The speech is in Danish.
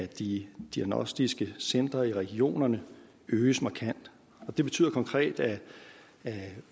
de diagnostiske centre i regionerne øges markant det betyder konkret at